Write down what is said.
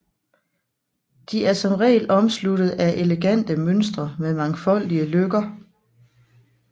De er som regel omsluttede af elegante mønstre med mangfoldige løkker